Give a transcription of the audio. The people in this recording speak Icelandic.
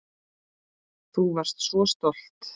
Þú varst svo stolt.